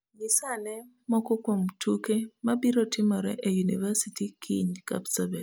Nyis ane moko kuom tuke ma biro timore e yunivasiti kiny kapsabet